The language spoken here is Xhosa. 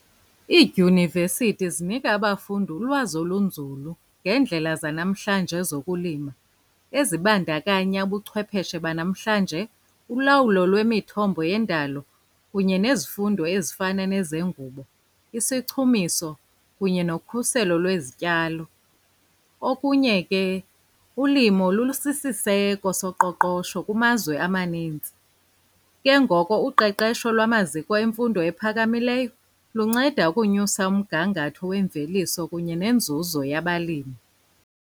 Iidyunivesithi zinika abafundi ulwazi olunzulu ngeendlela zanamhlanje zokulima, ezibandakanya ubuchwepheshe banamhlanje, ulawulo lwemithombo yendalo kunye nezifundo ezifana nezengubo, isichumiso, kunye nokhuselo lwezityalo. Okunye ke ulimo lulusisiseko soqoqosho kumazwe amaninzi. Ke ngoko uqeqesho lwamaziko emfundo ephakamileyo lunceda ukunyusa umgangatho wemveliso kunye nenzuzo yabalimi.